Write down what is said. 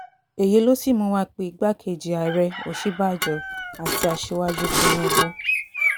èyí ló sì mú wa pé igbákejì ààrẹ òṣínbàjò àti aṣíwájú àti aṣíwájú tìǹbù